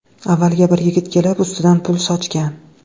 Avvaliga bir yigit kelib ustidan pul sochgan.